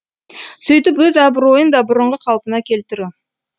сөйтіп өз абыройын да бұрынғы қалпына келтіру